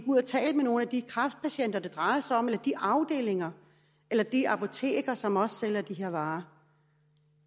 ud og tale med nogle af de kræftpatienter det drejer sig om eller de afdelinger eller de apoteker som sælger de her varer